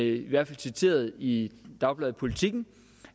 i hvert fald citeret i dagbladet politiken